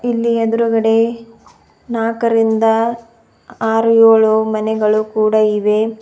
ಇಲ್ಲಿ ಎದ್ರುಗಡೆ ನಾಕರಿಂದ ಆರು ಏಳು ಮನೆಗಳು ಕೂಡ ಇವೆ.